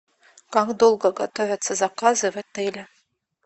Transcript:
как долго готовятся заказы в отеле